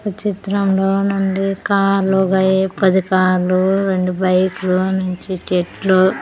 ఈ చిత్రంలో నుండి కార్లు బై-- పది కార్లు రెండు బైకులు నుంచి చెట్లు.